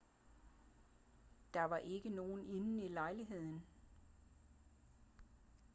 der var ikke nogen inde i lejligheden